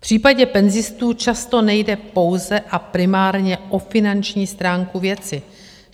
V případě penzistů často nejde pouze a primárně o finanční stránku věci.